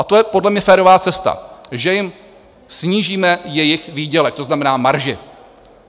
A to je podle mě férová cesta - že jim snížíme jejich výdělek, to znamená marži.